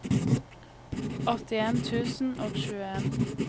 åttien tusen og tjueen